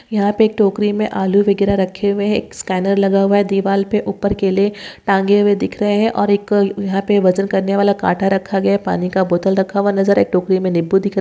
यहा पे टोकरी मे आलू वगैरे रखे हुए है एक स्कैनर लगा हुआ है दीवारपे ऊपर केले टांगे दिख रहे है और एक यहा पे वजन करनेवाला काटा रखा गया पानी का बोतल रखा हुआ नजर एक टोकरी मे नींबू दि दिख रहे --